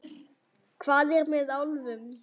Hvað er með álfum?